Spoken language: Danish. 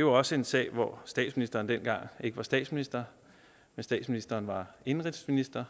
jo også en sag hvor statsministeren dengang ikke var statsminister men statsministeren var indenrigsminister